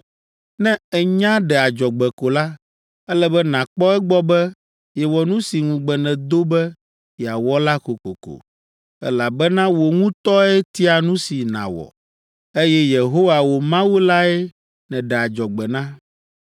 Ne ènya ɖe adzɔgbe ko la, ele be nàkpɔ egbɔ be yewɔ nu si ŋugbe nèdo be yeawɔ la kokoko, elabena wò ŋutɔe tia nu si nàwɔ, eye Yehowa, wò Mawu lae nèɖe adzɔgbe na.